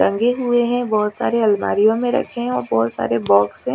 टंगे हुए है बहोत सारी अलमारि यो में रखे और बहोत सारे बोक्स है।